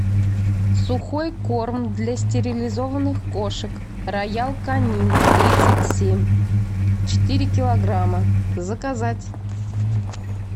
сухой корм для стерилизованных кошек роял канин тридцать семь четыре килограмма заказать